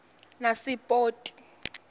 nasipoti